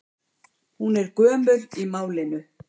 Hún er ekki gömul í málinu.